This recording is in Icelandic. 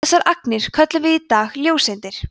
þessar agnir köllum við í dag ljóseindir